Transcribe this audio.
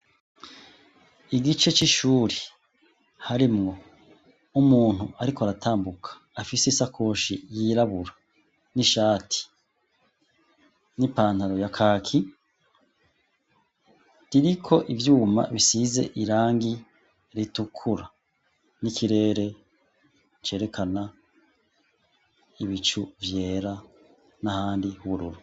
Igice c'ishuri harimwo umuntu ariko aratambuka afise isakoshi yirabura, n'ishati, n'ipantaro ya kaki, ririko ivyuma bisize irangi ritukura, n'ikirere cerekana ibicu vyera n'ahandi h'ubururu.